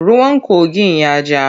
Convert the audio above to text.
Ruwan kogin ya ja.